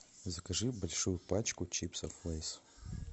закажи большую пачку чипсов лэйс